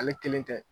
Ale kelen tɛ